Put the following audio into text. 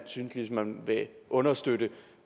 synes man vil understøtte